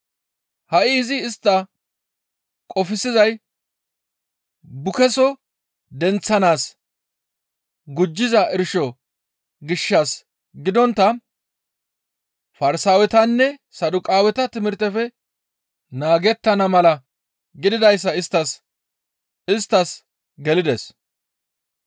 Ha7i izi istta qofsizay bukeeso denththanaas gujjiza irsho gishshas gidontta Farsaawetanne Saduqaaweta timirtefe naagettana mala gididayssi isttas gelides.